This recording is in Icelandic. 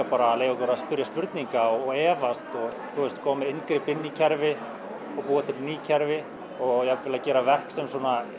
bara að leyfa okkur að spyrja spurninga og efast og koma með inngrip inn í kerfi og búa til ný kerfi og jafnvel að gera verk sem